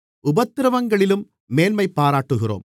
உபத்திரவங்களிலும் மேன்மைபாராட்டுகிறோம்